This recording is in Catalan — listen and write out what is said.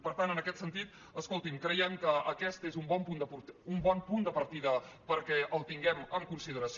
per tant en aquest sentit escolti’m creiem que aquest és un bon punt de partida perquè el tinguem en consideració